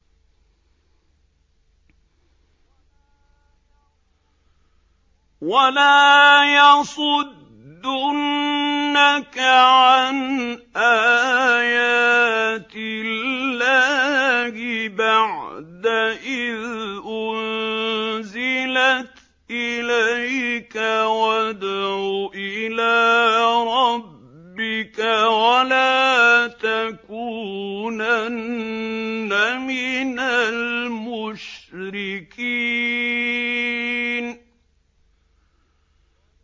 وَلَا يَصُدُّنَّكَ عَنْ آيَاتِ اللَّهِ بَعْدَ إِذْ أُنزِلَتْ إِلَيْكَ ۖ وَادْعُ إِلَىٰ رَبِّكَ ۖ وَلَا تَكُونَنَّ مِنَ الْمُشْرِكِينَ